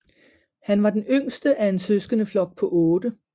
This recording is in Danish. Han var den yngste af en søskendeflok på 8